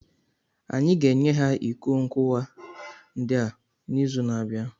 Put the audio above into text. Anyị ga-enye ha iko nkuwa ndị a n'izu na-abịa